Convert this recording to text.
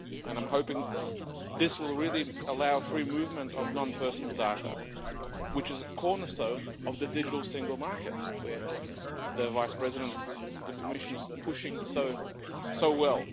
I am hoping that this will really allow free movement of non personal data, which is a cornerstone of the digital single market that the Vice-President of the Commission is pushing so well.